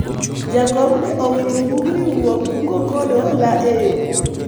jakom ne owito bug riwruog kungo kod hola e yoo